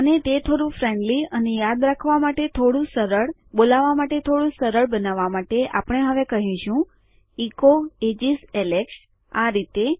અને તે થોડું ફ્રેંડલી અને યાદ રાખવા માટે થોડું સરળ બોલાવા માટે થોડું સરળ બનાવવા માટે આપણે હવે કહીશું ઇકો એજીસ એલેક્સ આ રીતે